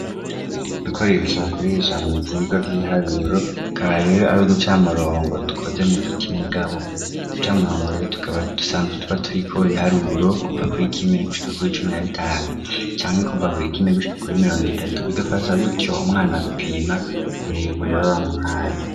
Dukoresha bakoresha muvyirwa vyibiharuro tukaba reoe ari uducamurongo dukoze mugiti mugabo ducamurongo tukaba dusanzwe tuba turiko biharuro kuva kuri ikimwe gushwa kur icumi na bitanu cangwa kuva kuri ikimwe gushika kuri imirongo itatu bigafasha gutyo umwana gupima uburebure b'a bamuhaye.